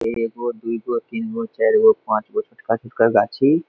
एगो दुगो तीनगो चारगो पाँचगो छोटका-छोटका गाछी।